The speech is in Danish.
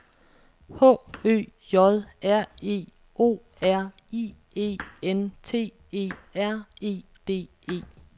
H Ø J R E O R I E N T E R E D E